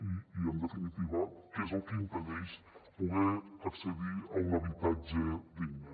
i en definitiva que és el que impedeix poder accedir a un habitatge digne